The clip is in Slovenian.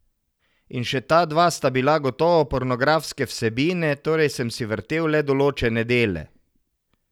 In še ta dva sta bila gotovo pornografske vsebine, torej sem si vrtel le določene dele.